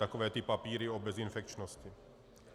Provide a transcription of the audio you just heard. Takové ty papíry o bezinfekčnosti.